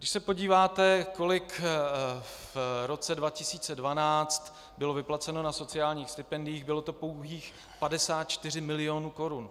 Když se podíváte, kolik v roce 2012 bylo vyplaceno na sociálních stipendiích, bylo to pouhých 54 mil. korun.